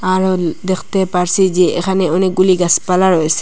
আরোন দেখতে পারছি যে এখানে অনেকগুলি গাসপালা রয়েছে।